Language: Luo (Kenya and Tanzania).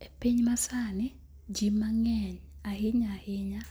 E piny masani, ji mangeny ahinya ahinya